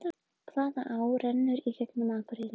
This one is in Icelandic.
Hvaða á rennur í gegnum Akureyri?